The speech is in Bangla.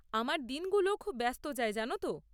আমার দিনগুলোও খুব ব্যস্ত যায় জানো তো।